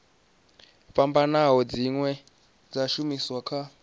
fhambanaho dzine dza shumiswa kha